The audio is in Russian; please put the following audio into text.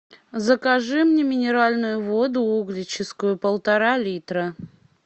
закажи мне минеральную воду углечискую полтора литра